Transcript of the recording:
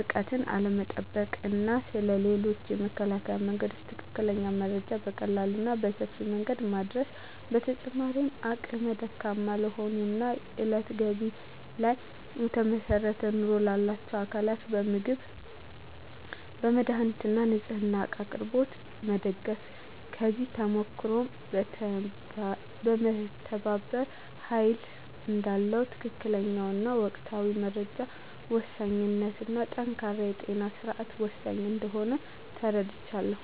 ርቀትን ስለመጠበቅ እና ስለ ሌሎችም የመከላከያ መንገዶች ትክክለኛ መረጃ በቀላሉ እና በሰፊው መንገድ ማዳረስ። በተጨማሪም አቅመ ደካማ ለሆኑ እና የእለት ገቢ ላይ ለተመሰረተ ኑሮ ላላቸው አካላት በምግብ፣ መድሃኒት እና ንፅህና እቃ አቅርቦት ላይ መደገፍ። ከዚህ ተሞክሮም መተባበር ኃይል እዳለው፣ የትክክለኛ እና ወቅታዊ መረጃ ወሳኝነት እና ጠንካራ የጤና ስርዓት ወሳኝ እንደሆነ ተረድቻለሁ።